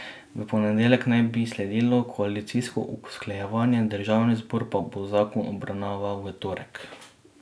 V ponedeljek naj bi sledilo koalicijsko usklajevanje, državni zbor pa bo zakon obravnaval v torek.